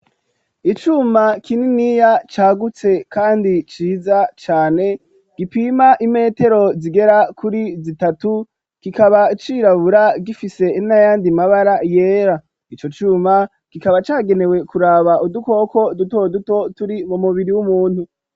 Icuma kininiya cagutse kandi ciza cane, gipima imetero zigera kuri zitatu, kikaba cirabura, gifise n'ayandi mabara yera, ico cuma kikaba cagenewe kuraba udukoko duto duto turi mu mubiri w'umuntu.